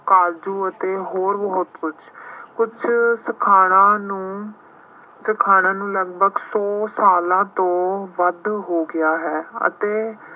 ਫਾਲਤੂ ਅਤੇ ਹੋਰ ਬਹੁਤ ਕੁੱਝ, ਕੁੱਛ ਸਿਖਾਣਾ ਨੂੰ ਸਖਾਣਾ ਲਗਭਗ ਸੌ ਸਾਲਾਂ ਤੋਂ ਵੱਧ ਹੋ ਗਿਆ ਹੈ ਅਤੇ